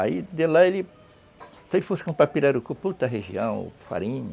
Aí, de lá, e ele, se ele fosse comprar Pirarucu, região, farinha.